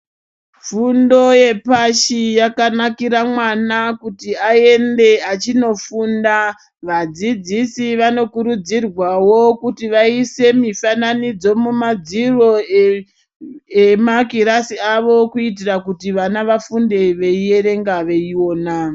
Fundo yepashi yakanakira mwana kuti ayende achinofunda. Vadzidzisi vanokurudzirwawo kuti vayise mifananidzo mumadziro emakirasi avo kuyitira kuti vana vafunde veyiyerenga veyiwona.